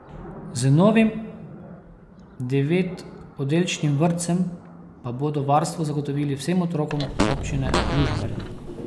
Z novim devetoddelčnim vrtcem pa bodo varstvo zagotovili vsem otrokom Občine Žužemberk.